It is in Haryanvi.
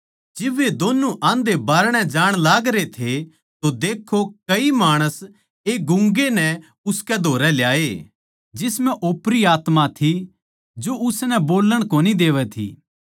जिब वे दोन्नु आंधे बारणे जाण लागरे थे तो देक्खो कई माणस एक गूँगे नै उसके धोरै ल्याए जिसम्ह ओपरी आत्मा थी जो उसनै बोल्लण कोनी देवै थी